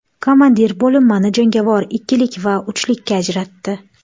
Komandir bo‘linmani jangovar ikkilik va uchlikka ajratdi.